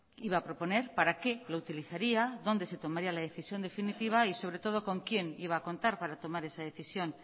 iba a proponer para qué lo utilizaría dónde se tomaría la decisión definitiva y sobre todo con quién iba a contar para tomar esa decisión